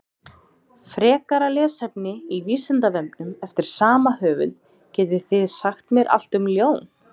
Frekara lesefni á Vísindavefnum eftir sama höfund: Getið þið sagt mér allt um ljón?